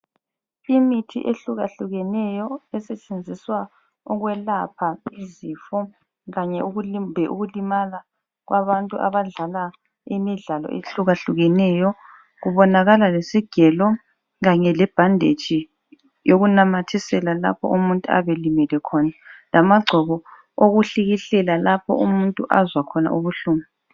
Imithi ehlukahlukeneyo esetshenziswa ukwelapha izifo kanye, kumbe ukulimala kwabantu abadlala imidlalo ehlukahlukeneyo, kubonakala lesigelo kanye lebhenditshi yokunamathisela lapho umuntu ayabe elimele khona. Kanye lamagcobo okuhlikihlela lapho umuntu ayabe azwa khona ubuhlungu.